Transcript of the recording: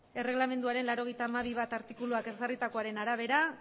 erregelamenduaren laurogeita hamabi puntu bat artikuluak ezarritakoaren arabera